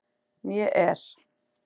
Né er